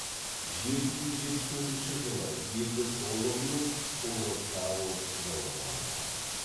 жеті жүз жетпіс төртінші жылы елді толығымен ұлы карл жаулап алды